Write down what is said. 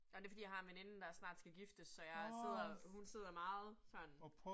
Og det fordi jeg har en veninde, der snart skal giftes, så jeg sidder, hun sidder meget sådan